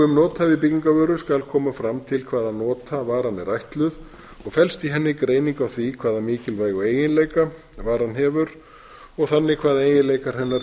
um nothæfi byggingarvöru skal koma fram til hvaða nota varan er ætluð og felst í henni greining á því hvaða mikilvægu eiginleika varan hefur og þannig hvað eiginleikar hennar